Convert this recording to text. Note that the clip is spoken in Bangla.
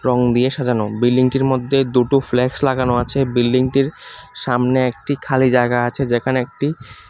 রং দিয়ে সাজানো বিল্ডিংটির মধ্যে দুটো ফ্ল্যাক্স লাগানো আছে বিল্ডিংটির সামনে একটি খালি জায়গা আছে যেখানে একটি